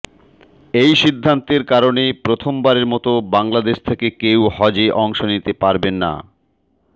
এই সিদ্ধান্তের কারণে প্রথমবারের মতো বাংলাদেশ থেকে কেউ হজে অংশ নিতে পারবেন না